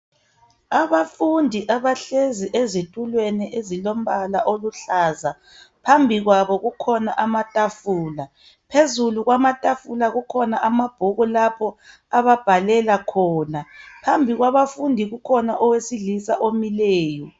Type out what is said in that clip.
Abafundi abahlezi ezitulweni ezilombala oluhlaza phambi kwabo kukhona amatafula phezulu kwamatafula kukhona amabhuku lapho ababhalela khona phambi kwabafundi kukhona owesilisa omileyo.